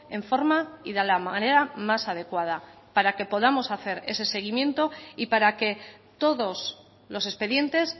en forma y de la manera más adecuada para que podamos hacer ese seguimiento y para que todos los expedientes